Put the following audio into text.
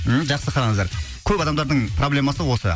м жақсы қараңыздар көп адамдардың проблемасы осы